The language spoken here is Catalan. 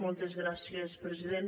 moltes gràcies president